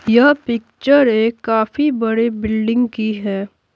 यह पिक्चर एक काफी बड़े बिल्डिंग की है।